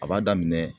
A b'a daminɛ